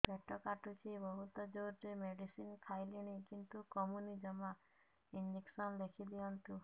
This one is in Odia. ପେଟ କାଟୁଛି ବହୁତ ଜୋରରେ ମେଡିସିନ ଖାଇଲିଣି କିନ୍ତୁ କମୁନି ଜମା ଇଂଜେକସନ ଲେଖିଦିଅନ୍ତୁ